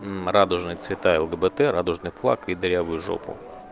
радужные цвета лгбт радужный флаг и дырявую жопу